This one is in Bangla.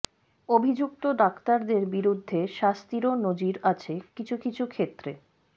অভিযুক্ত ডাক্তারদের বিরুদ্ধে শাস্তিরও নজির আছে কিছু কিছু ক্ষেত্রে